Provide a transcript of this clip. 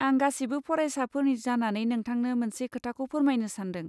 आं गासिबो फरायसाफोरनि जानानै नोंथांनो मोनसे खोथाखौ फोरमायनो सानदों।